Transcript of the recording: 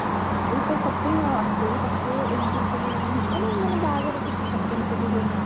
ଖାଲି ତ shopping ଆଉ ୟାକୁ ତାକୁ ଏମିତି ସବୁ ଦେଖୁନୁ ମାନେ ବାହାଘରରେ କେତେ shopping ସବୁ ହୁଏ ନା